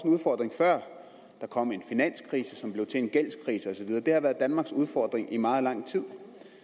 udfordring før der kom en finanskrise som blev til en gældskrise og så videre det har været danmarks udfordring i meget lang tid